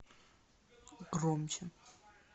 громче